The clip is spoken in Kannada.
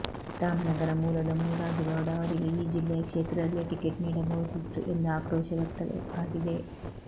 ರಾಮನಗರ ಮೂಲದ ಮುನಿರಾಜು ಗೌಡ ಅವರಿಗೆ ಆ ಜಿಲ್ಲೆಯ ಕ್ಷೇತ್ರದಲ್ಲೇ ಟಿಕೆಟ್ ನೀಡಬಹುದಿತ್ತು ಎಂದು ಆಕ್ರೋಶ ವ್ಯಕ್ತವಾಗಿದೆ